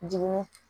Dimi